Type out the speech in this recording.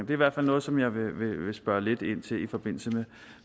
i hvert fald noget som jeg vil spørge lidt ind til i forbindelse